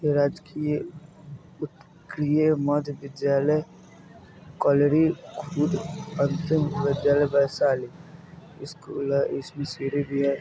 राजकीय उतकृय मध्य विद्यालय कलरी खुद अंतिम विद्यालय वैशाली इसमे सीढ़ी भी है।